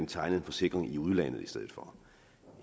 tegne en forsikring i udlandet i stedet for